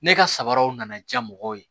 Ne ka sabaraw nana diya mɔgɔw ye